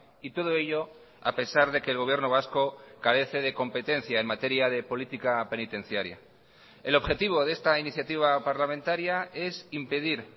y todo ello a pesar de que el gobierno vasco carece de competencia en materia de política penitenciaria el objetivo de esta iniciativa parlamentaria es impedir